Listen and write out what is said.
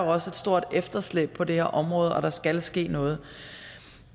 også et stort efterslæb på det her område og at der skal ske noget